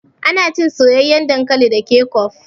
Ana cin soyayyan dankali da kecop.